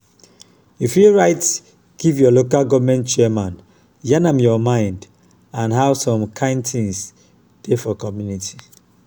you fit write give your local goverment chairman yarn am your mind and how some kind things dey for community